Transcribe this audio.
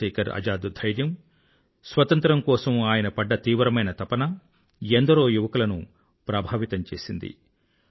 చంద్రశేఖర్ ఆజాద్ ధైర్యం స్వాతంత్రం కోసం ఆయన పడ్డ తీవ్రమైన తపన ఎందరో యువకులను ప్రేరితులను చేసింది